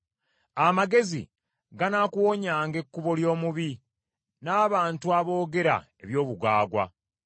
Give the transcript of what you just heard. Amagezi ganaakuwonyanga ekkubo ly’omubi, n’abantu aboogera eby’obugwagwa,